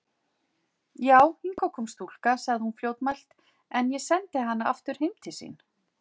Já, hingað kom stúlka, sagði hún fljótmælt,-en ég sendi hana aftur heim til sín.